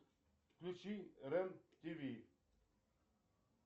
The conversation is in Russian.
включи рен тв